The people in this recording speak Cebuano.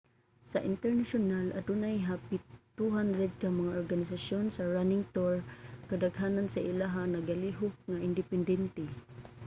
sa internasyonal adunay hapit 200 ka mga organisasyon sa running tour. kadaghanan sa ilaha nagalihok nga independente